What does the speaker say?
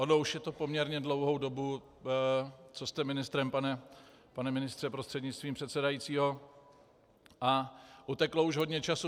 Ono už je to poměrně dlouhou dobu, co jste ministrem, pane ministře prostřednictvím předsedajícího, a uteklo už hodně času.